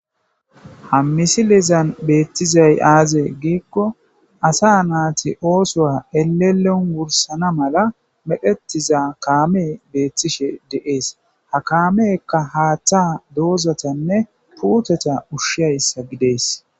Ha misilizan beettizay aaze giikko asa naati oosoa elelon wursana mala meqetiza kaame beettishe de'ees ha kaamekka haaththa doozatanne puuteta ushshiyayssa gidees.